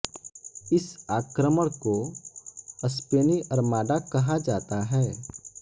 इस आक्रमण को स्पेनी अर्माडा कहा जाता है